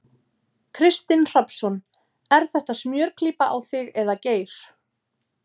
Kristinn Hrafnsson: Er þetta smjörklípa á þig eða Geir?